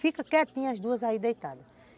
Fiquem quietinhas, as duas aí deitadas.